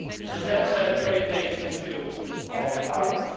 That's a very negative view of Ireland.